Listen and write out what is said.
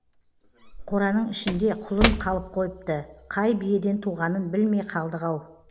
қораның ішінде құлын қалып қойыпты қай биеден туғанын білмей қалдық ау